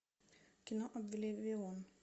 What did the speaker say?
кино обливион